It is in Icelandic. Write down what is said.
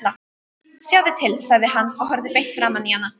Sjáðu til, sagði hann og horfði beint framan í hana.